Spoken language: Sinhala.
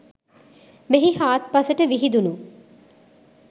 මෙහි හාත්පසට විහිදුනු